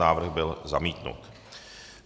Návrh byl zamítnut.